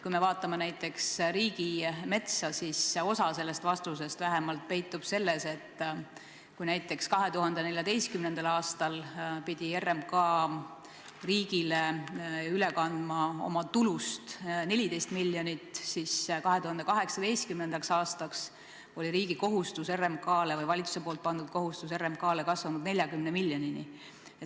Kui vaatame riigimetsa, siis vähemalt osa vastusest peitub selles, et kui näiteks 2014. aastal pidi RMK riigile üle kandma oma tulust 14 miljonit, siis 2018. aastaks oli riigi poolt RMK-le pandud kohustus – või valitsuse pandud kohustus – kasvanud 40 miljonini.